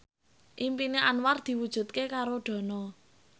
impine Anwar diwujudke karo Dono